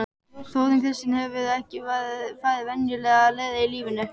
Þórunn Kristín hefur ekki farið venjulegar leiðir í lífinu.